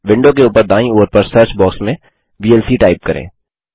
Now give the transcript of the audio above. विडों के ऊपर दायीं ओर पर सर्च बॉक्स में वीएलसी टाइप करें